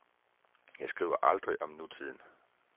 Jeg skriver aldrig om nutiden.